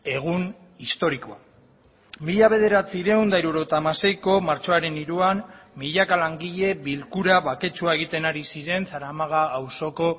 egun historikoa mila bederatziehun eta hirurogeita hamaseiko martxoaren hiruan milaka langile bilkura baketsua egiten ari ziren zaramaga auzoko